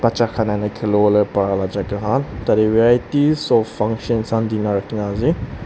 khiliwo le para jaga khan tate varities of functions khan dina rakhina ase.